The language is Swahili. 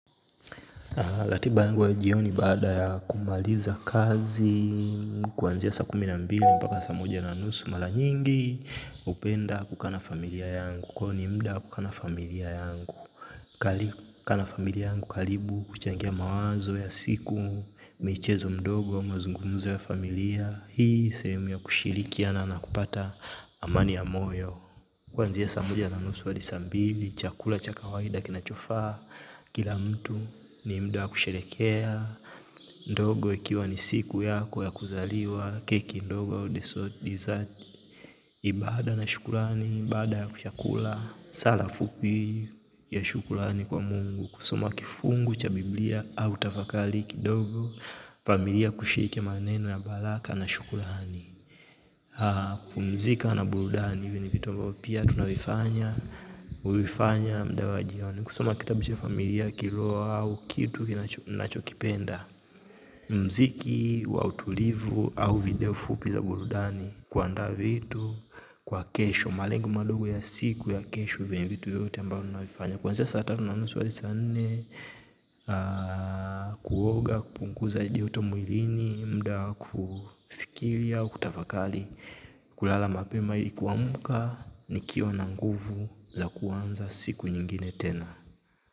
Ratiba yangu ya jioni baada ya kumaliza kazi, kuanzia saa kumi na mbili mpaka saa moja na nusu, mara nyingi, hupenda kukaa na familia yangu, huo ni muda wa kukaa muda na familia yangu. Kukaa na familia yangu karibu, kuchangia mawazo ya siku, michezo midogo, mazungumzo ya familia, hii ni sehemu ya kushirikiana na kupata amani ya moyo. Kwanzia saa moja na nusu adi saa mbili, chakula cha kawaida kinachofa, kila mtu ni mda wa kusherekea, ndogo ikiwa ni siku yako ya kuzaliwa, keki ndogo ya udeso dizati, ibada na shukulani, ibada ya kushakula, sala fupi ya shukulani kwa Mungu, kusoma kifungu cha biblia au tafakali kidogo, familia kushike maneno ya balaka na shukulani. Kumzika na burudani hivyo ni vitu mbao pia tunawifanya uifanya mda wa jioni kusoma kitabisho ya familia, kiloa au kitu kinachokipenda mziki wa utulivu au video fupi za burudani kuanda vitu kwa kesho, malengo madogo ya siku ya kesho vitu yote mbao tunawifanya kwanzea saa tatu na nusu adi saa nne kuoga, kupunkuza jihoto muilini mda kufikiria kutafakali kulala mapema yikuwa muka nikio na nguvu za kuanza siku nyingine tena.